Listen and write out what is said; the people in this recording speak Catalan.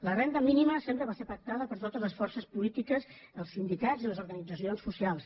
la renda mínima sempre va ser pactada per totes les forces polítiques els sindicats i les organitzacions socials